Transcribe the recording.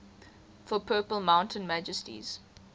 for purple mountain majesties